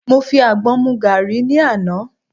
Mo fi àgbọn mu gàrí ni àná.